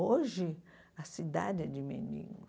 Hoje, a cidade é de mendigos.